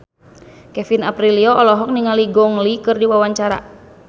Kevin Aprilio olohok ningali Gong Li keur diwawancara